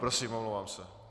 Prosím, omlouvám se.